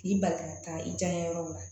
K'i bali ka taa i diyaɲɛ yɔrɔ la